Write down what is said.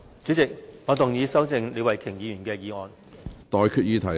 主席，我動議修正李慧琼議員的議案。